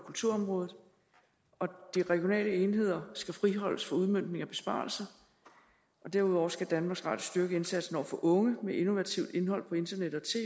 kulturområdet de regionale enheder skal friholdes for udmøntningen af besparelser og derudover skal danmarks radio styrke indsatsen over for unge med innovativt indhold på internettet og